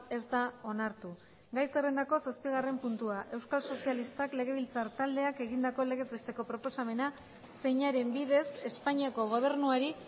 ez da onartu gai zerrendako zazpigarren puntuan euskal sozialistak legebiltzar taldeak egindako legez besteko proposamena zeinaren bidez espainiako gobernuari